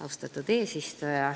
Austatud eesistuja!